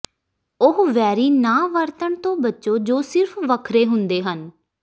ਉਹ ਵੈਰੀ ਨਾਂ ਵਰਤਣ ਤੋਂ ਬਚੋ ਜੋ ਸਿਰਫ ਵੱਖਰੇ ਹੁੰਦੇ ਹਨ